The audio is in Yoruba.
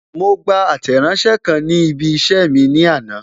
Mo gba Àtẹ̀ránsẹ́ kan ni ibi isẹ ní àná.